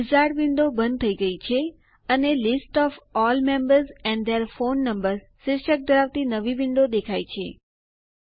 wizard window બંધ થઇ ગઈ છે અને list of all members and their phone numbers શીર્ષક ધરાવતી નવી વિન્ડો દેખાય છે